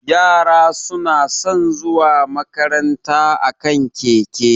Yara suna san zuwa makaranta a kan keke